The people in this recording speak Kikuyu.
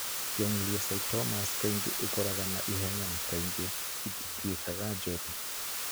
Gangliocytomas kaingĩ ikũraga na ihenya na kaingĩ itituĩkaga njũru.